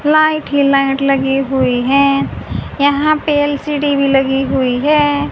Light ही light लगी हुई हैं यहां पे एल_सी_डी भी लगी हुई हैं।